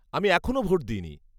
-আমি এখনও ভোট দিইনি।